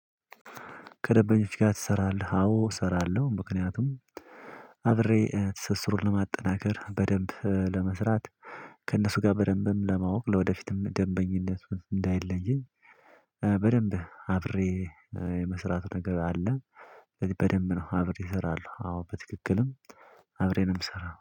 ከደበኞች ጋር ትሰራለህ? አዎ እሰራለሁ። ምክንያቱም አብሬ ትስስሩን ለማጠናከር በደንብ ለመስራት። ከእነሱ ጋር በደንብም ለማወቅ ለወደፊትም ደንበኝነት እንዳይለይኝ። በደንብ አብሬ የመስራት ነገር አለ። ስለዚህ በደንብ ነው አብሬ እሰራለሁ። አዎ በትክክልም አብሬ ነው የምሰራው